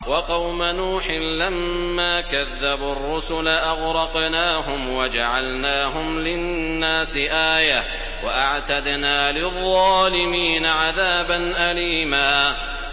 وَقَوْمَ نُوحٍ لَّمَّا كَذَّبُوا الرُّسُلَ أَغْرَقْنَاهُمْ وَجَعَلْنَاهُمْ لِلنَّاسِ آيَةً ۖ وَأَعْتَدْنَا لِلظَّالِمِينَ عَذَابًا أَلِيمًا